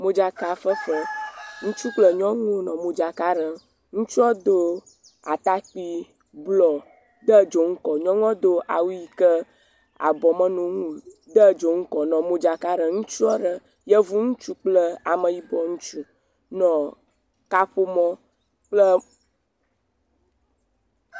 Modzaka fefe, ŋutsu kple nyɔnuwo nɔ modzaka ɖem, ŋutsua do ata kpui blɔ de dzonu kɔ nyɔnua ɖo awu yi ke abɔ menɔ eŋu o, de dzonu kɔ nɔ madzaka ɖem ŋutsu aɖe yevu ŋutsu kple ameyibɔ ŋutsu nɔ kaƒomɔ kple.